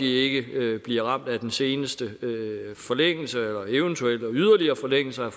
ikke bliver ramt af den seneste forlængelse eller eventuelle yderligere forlængelser